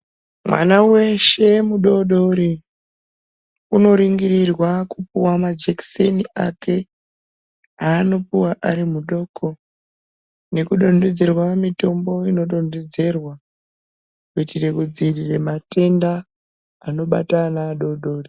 Mwana weshe mudodori unoringirirwa kupuwa majekiseni ake aanopuwa ari mudoko nekudonhedzerwa mitombo inodonhedzerwa kuitire kudzivirira matenda anobata ana adododri